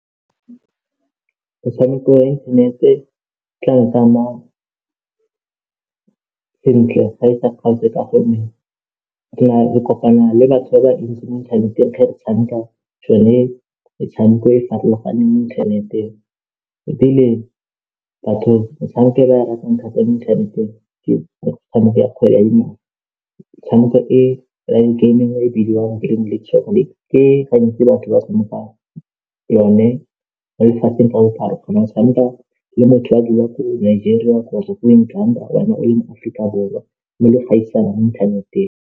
Metshameko ya inthanete tla nkama sentle fa e sa kgaotse ka gonne re kopana le batho ba ba ntsi mo inthaneteng ga re tshameka metshameko e e farologaneng mo inthaneteng ebile batho metshameko e ba e ratang thata mo inthaneteng ke metshameko ya kgwele ya dinao. Metshameko e, game e nngwe e bidiwang ke batho ba snooker yone mo lefatsheng ka bophara o kgona go tshameka le motho a dula ko Nigeria kgotsa ko Uganda wena o le mo Afrika Borwa mme le go gaisana inthaneteng.